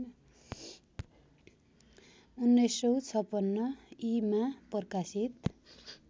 १९५६ ई मा प्रकाशित